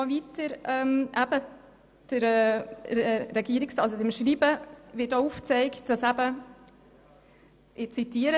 In diesem Schreiben wird auch Folgendes aufgezeigt – ich zitiere: